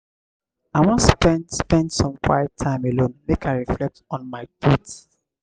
i wan spend spend some quiet time alone make i reflect on my thoughts.